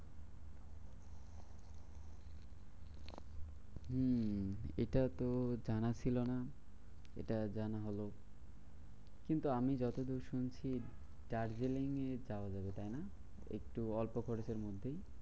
হম এটা তো জানা ছিল না। এটা জানা হলো। কিন্তু আমি যতদূর শুনেছি দার্জিলিং যাওয়া যাবে তাইনা? একটু অল্প খরচের মধ্যেই।